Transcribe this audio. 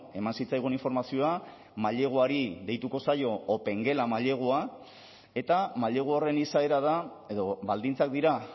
eman zitzaigun informazioa maileguari deituko zaio opengela mailegua eta mailegu horren izaera da edo baldintzak dira